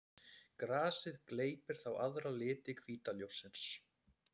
Grasið gleypir þá aðra liti hvíta ljóssins.